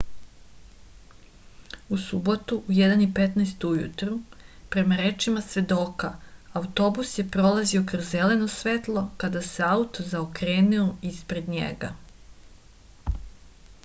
u subotu u 1:15 ujutru prema rečima svedoka autobus je prolazio kroz zeleno svetlo kada se auto zaokrenuo ispred njega